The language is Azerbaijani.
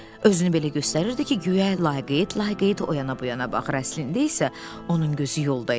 Özünü belə göstərirdi ki, guya laqeyd laqeyd o yana bu yana baxır, əslində isə onun gözü yolda idi.